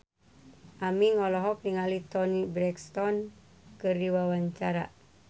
Aming olohok ningali Toni Brexton keur diwawancara